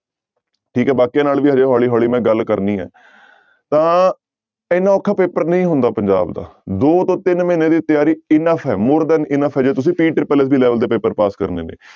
ਠੀਕ ਹੈ ਬਾਕੀਆਂ ਨਾਲ ਵੀ ਹਜੇ ਹੌਲੀ ਹੌਲੀ ਮੈਂ ਗੱਲ ਕਰਨੀ ਹੈ ਤਾਂ ਇੰਨਾ ਔਖਾ ਪੇਪਰ ਨਹੀਂ ਹੁੰਦਾ ਪੰਜਾਬ ਦਾ ਦੋ ਤੋਂ ਤਿੰਨ ਮਹੀਨੇ ਦੀ ਤਿਆਰੀ enough ਹੈ more than enough ਹੈ ਜੇ ਤੁਸੀਂ level ਦੇ ਪੇਪਰ ਪਾਸ ਕਰਨੇ ਨੇ।